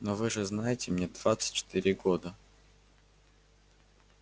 ну вы же знаете мне двадцать четыре года